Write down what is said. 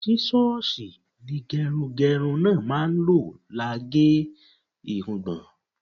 Sísọ́ọlsì ni gẹrungẹrun náà máa ń lò lá ge irungbọ̀n.